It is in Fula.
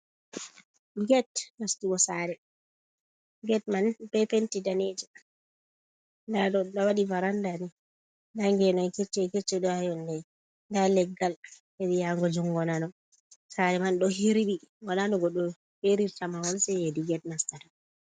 Get nastugo sare. Get man ɗo ɓe penti danejum nda ɗo ɗo waɗi varanda ni, nda ngenoy keccon-keccon ɗo ha yonde, nda leggal heri yebre jungo nano. Sare man ɗo hirɓi, wola no goɗɗo erirta mahol, sei hedi get nastata.